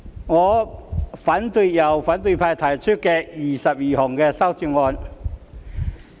我反對由反對派提出的21項修正案。